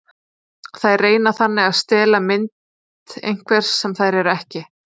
Þær reyna þannig að stela ímynd einhvers sem þær eru ekki.